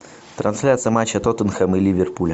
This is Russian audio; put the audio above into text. трансляция матча тоттенхэм и ливерпуля